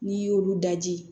N'i y'olu daji